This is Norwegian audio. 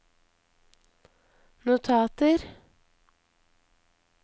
notater